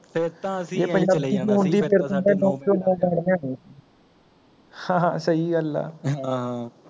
ਜੇ ਪੰਜਾਬੀ ਵਿਚ ਹੁੰਦੀ ਫ਼ੇਰ ਤਾਂ ਅਸੀ ਐ ਚਲੇ ਜਾਣਾ ਸੀ ਹਾਂ ਹਾਂ ਸਹੀ ਗੱਲ ਹੈ ਹਮਮ